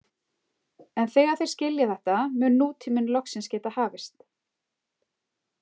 En þegar þeir skilja þetta mun nútíminn loksins geta hafist.